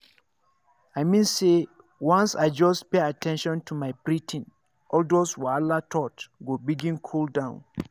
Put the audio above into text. i mean say once i just pay at ten tion to my breathing all those wahala thoughts go begin cool down.